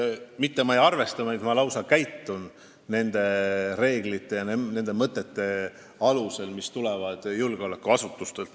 Ma mitte ainult ei arvesta, vaid lausa käitun nende reeglite ja mõtete alusel, mis tulevad julgeolekuasutustelt.